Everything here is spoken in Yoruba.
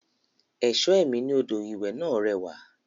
Ẹ̀ṣọ́ ẹ̀mí ní odò ìwẹ̀ náà rẹwà